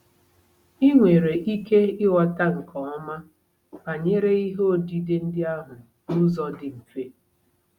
Ị nwere ike ịghọta nke ọma banyere ihe odide ndị ahụ n'ụzọ dị mfe.